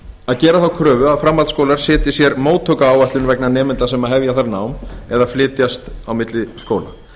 að gera þá kröfu að framhaldsskólar setji sér móttökuáætlun vegna nemenda sem hefja þar nám eða flytjast á milli skóla